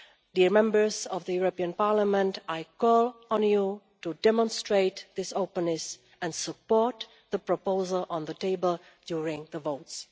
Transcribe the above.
Dear Members of the European Parliament, I call on you to demonstrate this openness and support the proposal on the table during the votes.